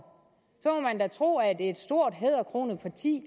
så måtte man da tro at et stort hæderkronet parti